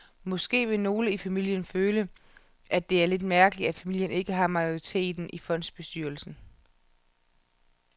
Måske vil nogle i familien føle, at det er lidt mærkeligt, at familien ikke har majoriteten i fondsbestyrelsen.